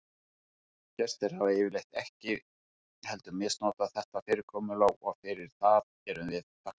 Gestir hafa yfirleitt ekki heldur misnotað þetta fyrirkomulag og fyrir það erum við þakklát.